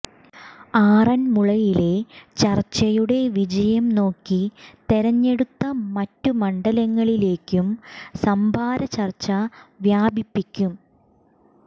ആറന്മുളയിലെ ചര്ച്ചയുടെ വിജയം നോക്കി തെരഞ്ഞെടുത്ത മറ്റ് മണ്ഡലങ്ങളിലേയ്ക്കും സംഭാര ചര്ച്ച വ്യാപിപ്പിക്കും